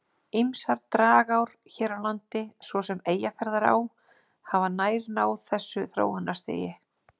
Ýmsar dragár hér á landi, svo sem Eyjafjarðará, hafa nær náð þessu þróunarstigi.